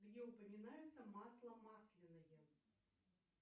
где упоминается масло масляное